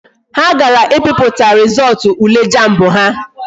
Ha gara i piputa rizootu ule jamb ha